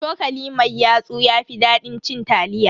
Cokali mai yatsu ya fi dadin cin taliya.